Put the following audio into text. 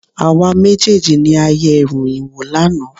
Àwa méjèèjì ni a yẹ ìròyìn wò lánàá.